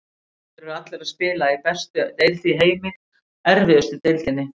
Þeir eru allir að spila í bestu deild í heimi, erfiðustu deildinni.